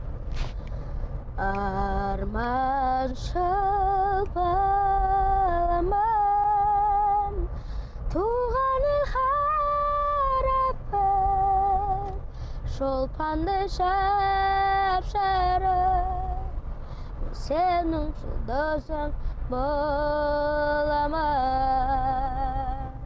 арманшыл баламын туған ел шолпандай жап жарық сенің жұлдызың боламын